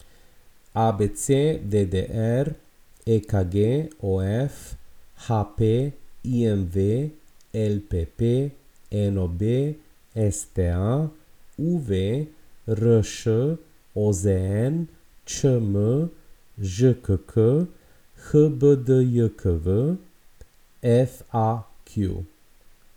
ABC, DDR, EKG, OF, HP, IMV, LPP, NOB, STA, UV, RŠ, OZN, ČM, ŽKK, HBDJKV, FAQ.